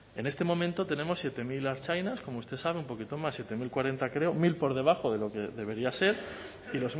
en este momento tenemos siete mil ertzainas como usted sabe un poquito más siete mil cuarenta creo mil por debajo de lo que debería ser y